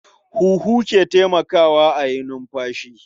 Huhu ke taimakawa a yi numfashi.